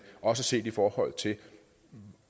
også set i forhold til